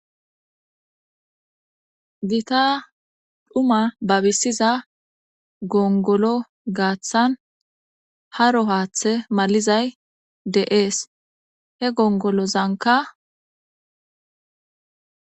gita dhuma babisiza gongolo gaaththan haro haaththe malizay de7ees he gongolozanka